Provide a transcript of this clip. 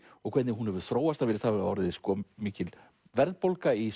og hvernig hún hefur þróast það virðist hafa orðið mikil verðbólga í